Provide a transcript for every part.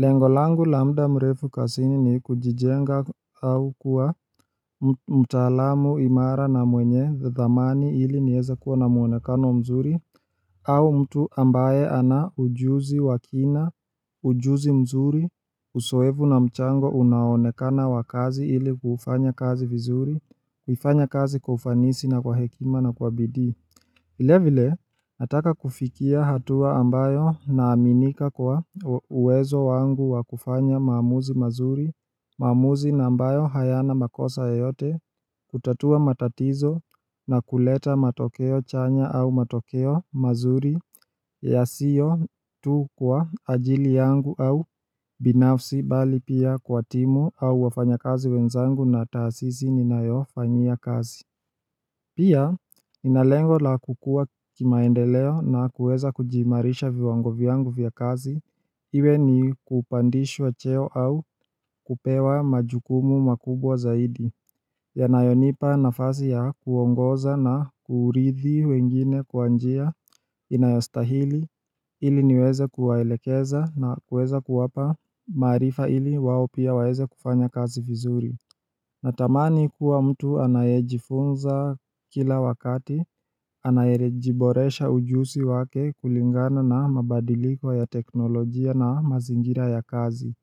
Lengo langu la muda murefu kazini ni kujijenga au kuwa mtaalamu imara na mwenye dhamani ili nieze kuwa na muonekano mzuri au mtu ambaye ana ujuzi wa kina, ujuzi mzuri, uzoevu na mchango unaonekana wa kazi ili kufanya kazi vizuri, kuifanya kazi kwa ufanisi na kwa hekima na kwa bidii vile vile, nataka kufikia hatua ambayo naaminika kwa uwezo wangu wa kufanya maamuzi mazuri, maamuzi na ambayo hayana makosa yoyote, kutatua matatizo na kuleta matokeo chanya au matokeo mazuri yasiyo tu kwa ajili yangu au binafsi bali pia kwa timu au wafanya kazi wenzangu na taasisi ninayofanyia kazi. Pia, nina lengo la kukua kimaendeleo na kuweza kujiimarisha viwango vyangu viya kazi, iwe ni kupandishwa cheo au kupewa majukumu makubwa zaidi yanayonipa nafasi ya kuongoza na kuridhi wengine kwa njia inayostahili ili niweze kuwaelekeza na kuweza kuwapa maarifa ili wao pia waeze kufanya kazi vizuri Natamani kuwa mtu anayejifunza kila wakati, anayejiboresha ujusi wake kulingana na mabadiliko ya teknolojia na mazingira ya kazi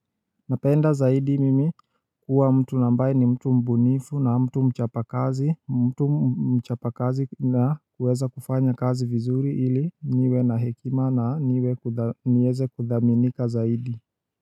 Napenda zaidi mimi kuwa mtu na ambaye ni mtu mbunifu na mtu mchapa kazi, mtu mchapa kazi na kuweza kufanya kazi vizuri ili niwe na hekima na niweze kuthaminika zaidi.